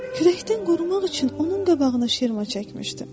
Küləkdən qorumaq üçün onun qabağına şirma çəkmişdim.